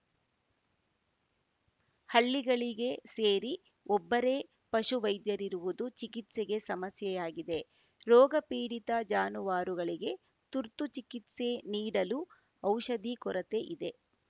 ಹಳ್ಳಿಗಳಿಗೆ ಸೇರಿ ಒಬ್ಬರೇ ಪಶು ವೈದ್ಯರಿರುವುದು ಚಿಕಿತ್ಸೆಗೆ ಸಮಸ್ಯೆಯಾಗಿದೆ ರೋಗ ಪೀಡಿತ ಜಾನುವಾರುಗಳಿಗೆ ತುರ್ತು ಚಿಕಿತ್ಸೆ ನೀಡಲು ಔಷಧಿ ಕೊರತೆ ಇದೆ